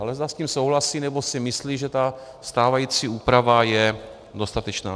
Ale zda s tím souhlasí, nebo si myslí, že ta stávající úprava je dostatečná.